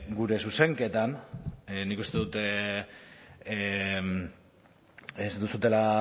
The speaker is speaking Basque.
gure zuzenketan nik uste dut ez duzuela